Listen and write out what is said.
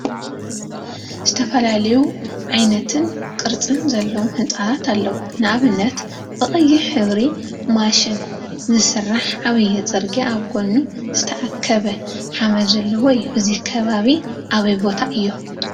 ዝተፈላለዩ ዓይነትን ቅርፂን ዘለዎም ህንፃታት አለው፡፡ ንአብነት ብቀያሕ ሕብሪ ማሽን ዝስራሕ ዓብይ ፅርጊያ አብ ጎኑ ዝተአከበ ሓመደ ዘለዎ እዩ፡፡ እዚ ከባቢ አበይ ቦታ እዩ?